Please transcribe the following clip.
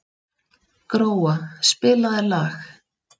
Gróa, spilaðu lag.